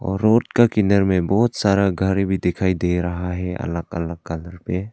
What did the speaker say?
Road का किनारे में बहुत सारा घर भी दिखाई दे रहा है अलग अलग कलर पे।